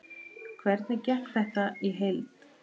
Hvernig gekk þetta í heild?